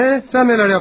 Hə, sən nələr etdin?